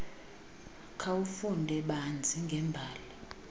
khawufunde banzi ngembali